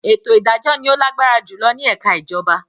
“Ètò ìdájọ́” ni ó lágbára jùlọ nínú ẹka ìjọba.